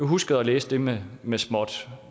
huske at læse det med med småt